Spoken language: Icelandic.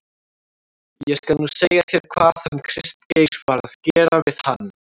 ÉG SKAL NÚ SEGJA ÞÉR HVAÐ HANN KRISTGEIR VAR AÐ GERA VIÐ HANN.